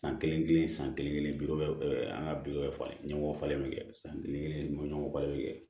San kelen kelen san kelen bi an ka bi falen ɲɔgɔn falen san kelen maɲɔ ba bɛ kɛ